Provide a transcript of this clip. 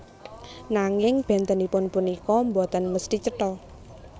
Nanging bèntenipun punika boten mesthi cetha